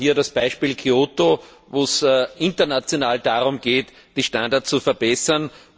Wir haben hier das Beispiel Kyoto, wo es international darum geht, die Standards zu verbessern.